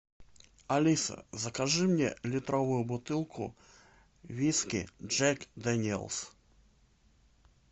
алиса закажи мне литровую бутылку виски джек дэниэлс